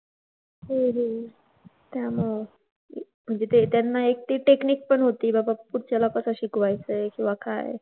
हम्म हम्म हो ना. त्यामुळं. म्हणजे ते त्यांना एक ती technique पण होती बाबा कुठच्याला कसं शिकवायचंय किंवा काय.